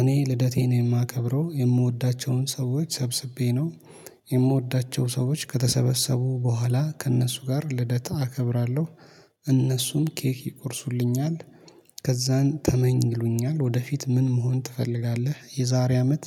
እኔ ልደቴን የማከብረው የምወዳቸውን ሰዎች ሰብስቤ ነው። የምወዳቸው ሰዎች ከተሰበሰቡ በኋላ ከእነሱ ጋር ልደት አከብራለሁ። እነሱም ኬክ ይርሱልኛል። ከዛን ተመኝ ይሉኛል ወደፊት ምን መሆን ትፈልጋለህ? የዛሬ አመት?